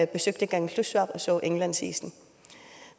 besøgte kangerlussuaq og så indlandsisen